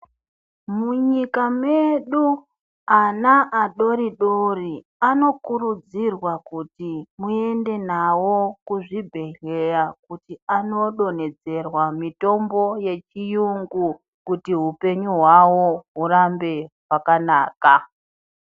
Munyika medu ana adoridori anokurudzirwa kuti muende nawo kuzvibhedhleya kuti anodonhedzerwa mitombo yechiyungu. Kuti hupenyu hwawo hurambe hwakanaka.